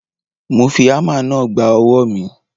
Mo fi ámà náà gba ọwọ́ mi.